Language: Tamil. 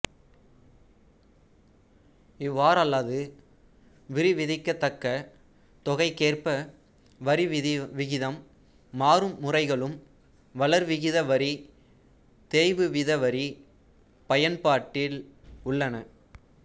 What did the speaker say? இவ்வாறல்லாது வரிவிதிக்கத்தக்கத் தொகைக்கேற்ப வரி விகிதம் மாறும் முறைகளும் வளர்விகித வரி தேய்வுவீத வரி பயன்பாட்டில் உள்ளன